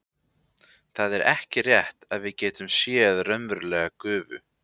Það er ekki rétt að við getum séð raunverulega gufu.